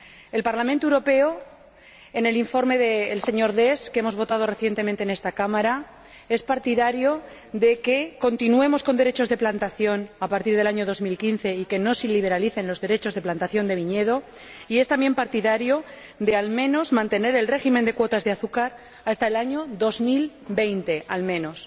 El Parlamento Europeo, en el informe del señor Dess, que hemos votado recientemente en esta Cámara, es partidario de que continuemos con derechos de plantación a partir del año 2015 y de que no se liberalicen los derechos de plantación de viñedos, y es también partidario de mantener el régimen de cuotas de azúcar hasta el año 2020, al menos.